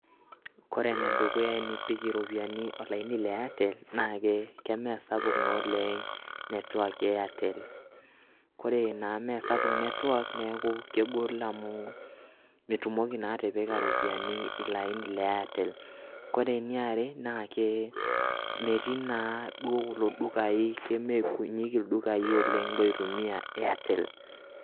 Kore ene dukuya enipik iropiani olaini le Airtel, naake keme sapuk naa oleng' network e Airtel. Kore naa ene meesapuk network neeku mitumoki naa atipika iropiani ilo aini le Airtel. Kore eniare metii duo kemee kunyik ildukai oleng' oitumia Airtel.